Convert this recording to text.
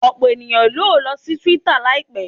Ọpọlọpọ eniyan yoo lọ si twitter laipẹ